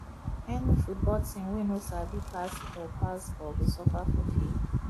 any football team wey no sabi pass ball pass ball go suffer for field